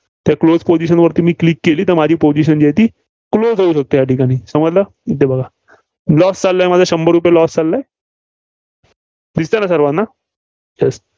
तर Close position वरती मी Click केली, तर माझी position जी आहे ती Close होऊ शकते, या ठिकाणी समजलं? इथं बघा. Loss चाललाय शंभर रुपये loss चाललाय. दिसतंय ना सर्वांना.